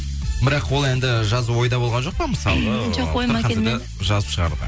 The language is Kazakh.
бірақ ол әнді жазу ойда болған жоқ па мысалы жазып шығаруға